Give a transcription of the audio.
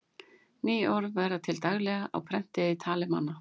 Ný orð verða til daglega á prenti eða í tali manna.